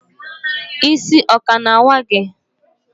Isi o ka na awa gi?